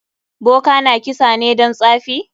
Boka na kisa ne don tsafi?